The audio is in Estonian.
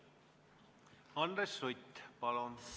Andres Sutt, palun!